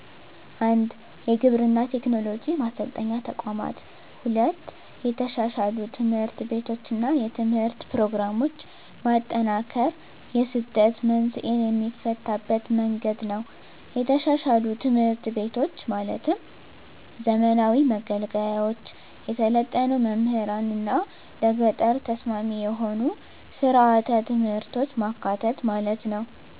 1. የግብርና ቴክኖሎጂ ማሰልጠኛ ተቋማት 2. የተሻሻሉ ትምህርት ቤቶችና የትምህርት ፕሮግራሞች ማጠናከር የስደት መንስኤን የሚፈታበት መንገድ ነው የተሻሻሉ ትምህርት ቤቶች ማለትም ዘመናዊ መገልገያዎች፣ የሰለጠኑ መምህራንና ለገጠር ተስማሚ የሆኑ ሥርዓተ ትምህርቶች ማካተት ማለት ነው።